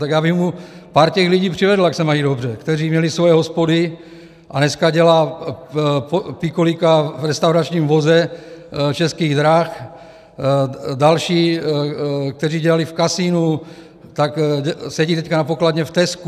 Tak já bych mu pár těch lidí přivedl, jak se mají dobře, kteří měli svoje hospody, a dneska dělá pikolíka v restauračním voze Českých drah, další, kteří dělali v kasinu, tak sedí teď na pokladně v Tescu.